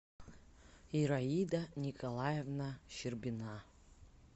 ираида николаевна щербина